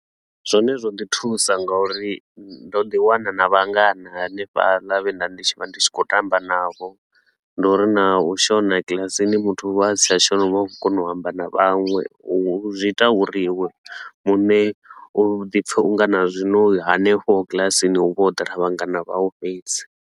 Zwone zwo ḓi thusa ngauri ndo ḓi wana na vhangana hanefhaḽa vhe nda ndi vha ndi tshi khou tamba navho. Ndi uri na u shona kilasini muthu u vha a si tsha shona u vha khou kona u amba na vhaṅwe, u zwi ita uri iwe muṋe u ḓi pfe u nga na zwino hanefho kilasini hu vha ho ḓala vhangana vhau fhedzi.